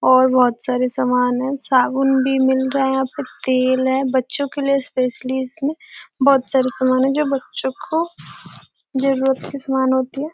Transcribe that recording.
और बहुत सरे समान है साबुन भी मिल रहा है यहाँ पे तेल है बच्चों के लिए स्पेशलिस्ट में बहुत सरे समान हैं जो बच्चो को जरुरत की सामान होती है।